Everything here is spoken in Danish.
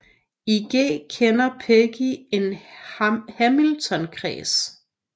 I G kender Peggy en hamiltonkreds